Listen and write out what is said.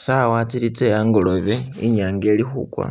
Tsawa tsili tsehangolobe inyanga ili khugwa,